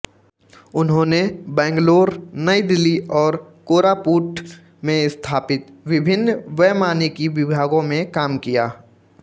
उन्होंने बैंगलोर नई दिल्ली और कोरापुट में स्थापित विभिन्न वैमानिकी विभागों में काम किया